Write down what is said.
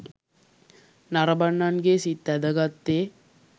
නරඹන්නන්ගේ සිත් ඇදගත්තේ